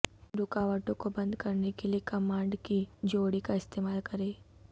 رکاوٹوں کو بند کرنے کیلئے کمانڈ کی جوڑی کا استعمال کریں